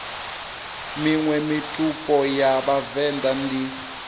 miṅwe mitupo ya vhavenḓa ndi